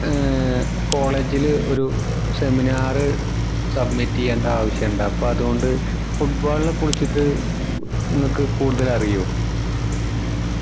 ഏർ college ല് ഒരു seminar submit ചെയ്യണ്ട ആവിശം ഇണ്ട് അപ്പൊ അതോണ്ട് foot ball നെ കുറിച്ച് ഇങ്ങൾക് കൂടുതൽ അറിയോ